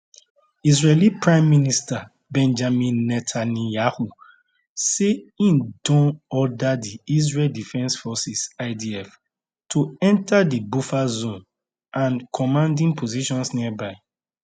israeli prime minister benjamin netanyahu say im don order di israel defense forces idf to enter di buffer zone and commanding positions nearby